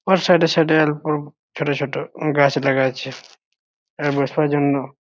Or side -এ side -এ এরকম ছোট ছোট গাছ দেখা যাচ্ছে আ বসবার জন্য ।